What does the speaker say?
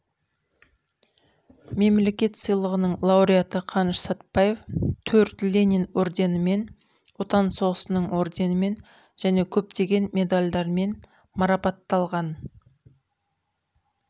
мемлекеттік сыйлығының лауреаты қаныш сәтбаев төрт ленин орденімен отан соғысының орденімен және көптеген медалдармен марапатталған